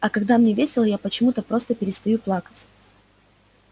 а когда мне весело я почему-то просто перестаю плакать